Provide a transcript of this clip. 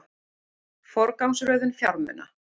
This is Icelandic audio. Forgangsröðun fjármuna